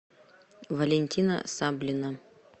валентина саблина